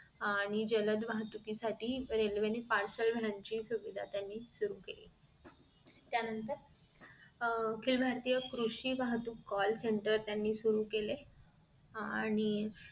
आणि जलद वाहतुकी साठी रेल्वेने parcel सुविधा त्यांनी सुरु केली त्यानंतर अह अखिल भारतीय कृषी वाहतूक call centere त्यांनी सुरु केले आणि